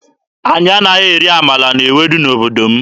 Anyị anaghị eri amala na ewedu n'obodo m.